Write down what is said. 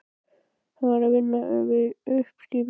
Hann var að vinna við uppskipun.